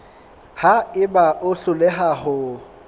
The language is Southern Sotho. ha eba o hloleha ho